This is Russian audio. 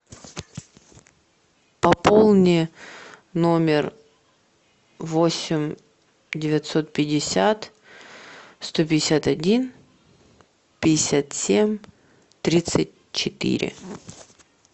пополни номер восемь девятьсот пятьдесят сто пятьдесят один пятьдесят семь тридцать четыре